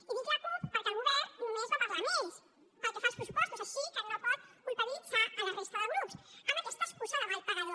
i dic la cup perquè el govern només va parlar amb ells pel que fa als pressupostos així que no pot culpabilitzar la resta de grups amb aquesta excusa de mal pagador